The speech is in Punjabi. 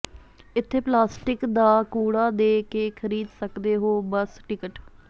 ਇਥੇ ਪਲਾਸਟਿਕ ਦਾ ਕੂੜਾ ਦੇ ਕੇ ਖਰੀਦ ਸਕਦੇ ਹੋ ਬੱਸ ਟਿਕਟ